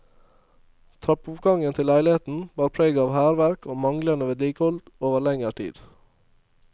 Trappeoppgangen til leiligheten bar preg av hærverk og manglede vedlikehold over lengre tid.